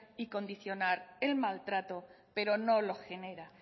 y condicionar el maltrato pero no lo genera